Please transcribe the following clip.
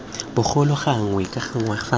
bogolo gangwe ka ngwaga fa